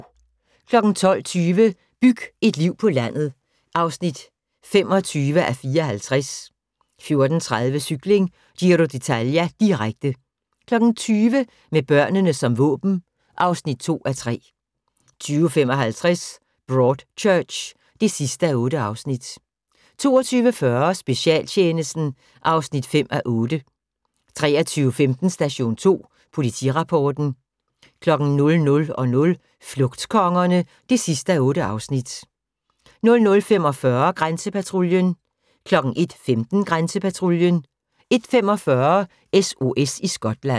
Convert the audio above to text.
12:20: Byg et liv på landet (25:54) 14:30: Cykling: Giro d'Italia, direkte 20:00: Med børnene som våben (2:3) 20:55: Broadchurch (8:8) 22:40: Specialtjenesten (5:8) 23:15: Station 2 Politirapporten 00:00: Flugtkongerne (8:8) 00:45: Grænsepatruljen 01:15: Grænsepatruljen 01:45: SOS i Skotland